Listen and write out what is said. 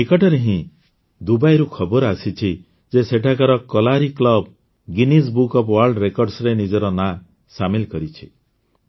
ଏଇ ନିକଟରେ ହିଁ ଦୁବାଇରୁ ଖବର ଆସିଛି ଯେ ସେଠାକାର Kalari club Guinness book of world ରେକର୍ଡସରେ ନିଜର ନାଁ ସାମିଲ କରିଛି